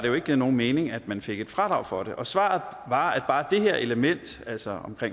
jo ikke nogen mening at man fik et fradrag for dem og svaret var at bare det her element altså